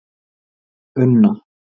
Unna